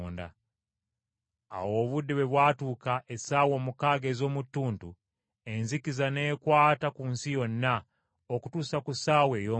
Awo obudde bwe bwatuuka essaawa omukaaga ez’omu ttuntu, enzikiza n’ekwata ku nsi yonna, okutuusa ku ssaawa ey’omwenda,